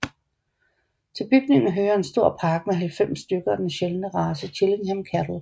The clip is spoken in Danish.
Til bygningen hører en stor park med 90 stykker af den sjældne race Chillingham Cattle